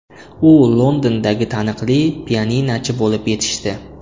U Londondagi taniqli pianinochi bo‘lib yetishdi.